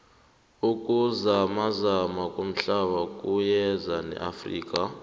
ukuzamazama komhlaba kuyeza neafrika